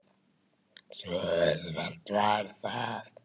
Svo auðvelt var það.